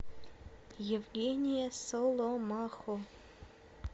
евгения соломахо